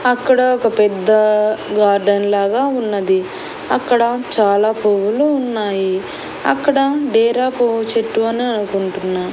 అక్కడ ఒక పెద్ద గార్డెన్ లాగా ఉన్నది అక్కడ చాలా పువ్వులు ఉన్నాయి అక్కడ డేరా పువ్వు చెట్టు అని అనుకుంటున్నా.